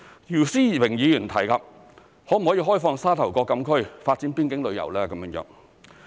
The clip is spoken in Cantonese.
姚思榮議員提及可否開放沙頭角禁區發展邊境旅遊。